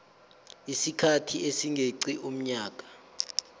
isikhathi esingeqi umnyaka